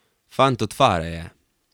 Fant od fare je.